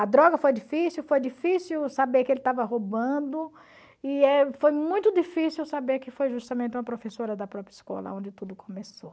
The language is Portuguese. A droga foi difícil, foi difícil saber que ele estava roubando, e eh foi muito difícil saber que foi justamente uma professora da própria escola onde tudo começou.